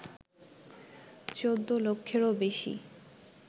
১৪ লক্ষেরও বেশি